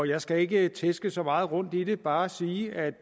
jeg skal ikke tærske så meget rundt i det man bare sige at